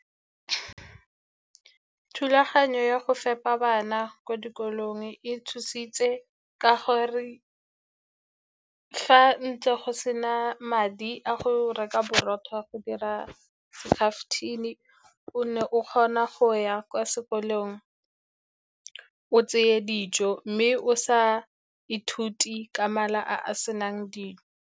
Thulaganyo ya go fepa bana kwa dikolong e thusitse, ka gore fa ntle go se na madi a go reka boroko go dira skaftin-e, o ne o kgona go ya kwa sekolong, o tseye dijo, mme o sa ithute ka mala a a senang dijo.